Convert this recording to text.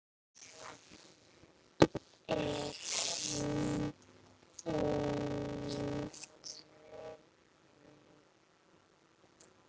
Er heimild?